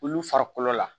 Olu farikolo la